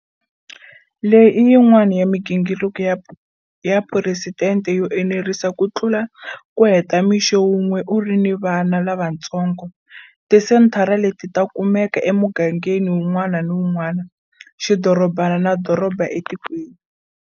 Leyi i yin'wana ya migingiriko ya phuresidente yo enerisa ku tlula ku heta mixo wun'we u ri ni vana lavatsongo. Tisenthara leti ta kumeka emugangeni wun'wana na wun'wana, xidorobana na doroba etikweni.